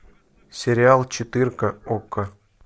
сериал четырка окко